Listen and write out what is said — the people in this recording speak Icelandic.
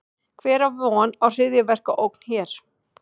Hver á von á hryðjuverkaógn hér?